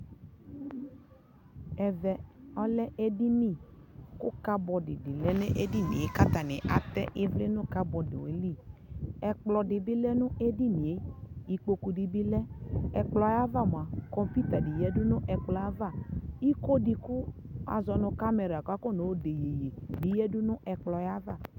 ɛvɛ ɔlɛ nʋ ɛdini kʋ cupboard di lɛnʋ ɛdiniɛ, kʋ atani ivli nʋ cupboard ɛli, ɛkplɔ dibi dʋ ɛdiniɛ ikpɔkʋ di bi lɛ, ɛkplɔɛ aɣa mʋa kɔmpʋta di lɛnʋ ɛkplɔɛ aɣa, ikɔɔ di kʋ azɔnʋ camɛra kʋ akɔ nɔ dɛ yɛyɛ bi yadʋ nʋ ɛkplɔɛ aɣa